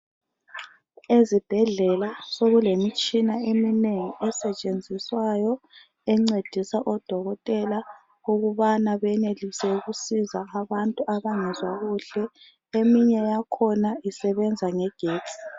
Ezibhedlela sokulemitshina eminengi asetshenziswayo, encedisa odokotela ukubana beyenelise ukusiza abantu abangezwa kuhle. Eminye yakhona isebenza ngegetsi.